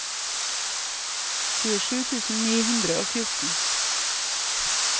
tjuesju tusen ni hundre og fjorten